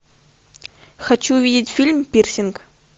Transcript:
хочу увидеть фильм пирсинг